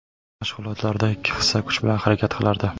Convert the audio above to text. Mashg‘ulotlarda ikki hissa kuch bilan harakat qilardi.